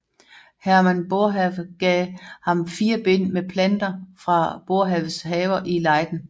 Herman Boerhaave gav ham fire bind med planter fra Boerhaaves haver i Leiden